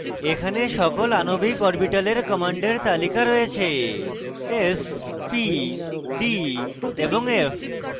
এখানে সকল আণবিক orbitals commands তালিকা রয়েছে s p d এবং f